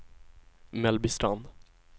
Mellbystrand